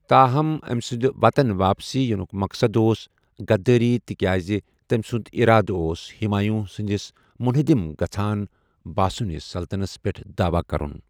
تاہم، أمہِ سنٛدِ وطن واپسی یِنُک مقصد اوس غدٲری تِکیٛازِ تٔمہِ سُنٛد اِرادٕ اوس ہمایوُں سندِس مٗنحدِم گژھان باسونِس سلطنتس پیٹھ داعوا كرٗن ۔